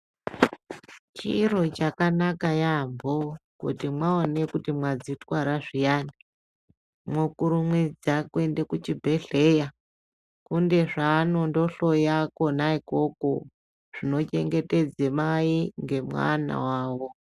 Chiro chakanaka yambo kuti maone kuti madzi twara zviyani mokurumidza kuende ku chi bhedhleya kune zvaano hloya konakoko zvino chengetedze mai nge mwana wawo.